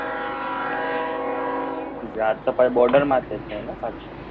હા ગુજરાત તો પાછું border છે ને